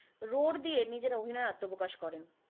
রোর দিয়ে নিজের অভিনয়ে আত্মপ্রকাশ করেন।